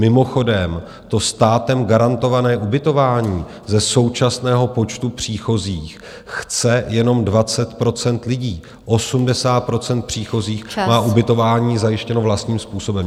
Mimochodem, to státem garantované ubytování ze současného počtu příchozích chce jenom 20 % lidí, 80 % příchozích má ubytování zajištěno vlastním způsobem.